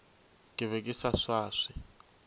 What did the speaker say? ke be ke sa swaswe